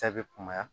Cɛ bɛ kunbaya